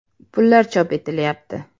Pullar chop etilayapti.